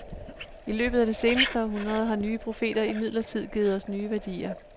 I løbet af det seneste århundrede har nye profeter imidlertid givet os nye værdier.